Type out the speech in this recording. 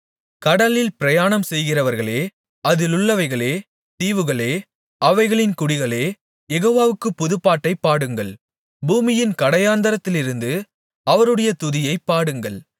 கடலில் பயணம்செய்கிறவர்களே அதிலுள்ளவைகளே தீவுகளே அவைகளின் குடிகளே யெகோவாவுக்குப் புதுப்பாட்டைப் பாடுங்கள் பூமியின் கடையாந்தரத்திலிருந்து அவருடைய துதியைப் பாடுங்கள்